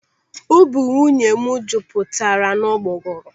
Ubi nwunye m jupụtara n'ụgbọgọrọ.